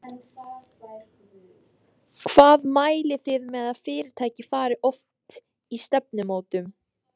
Hvað mælið þið með að fyrirtæki fari oft í stefnumótun?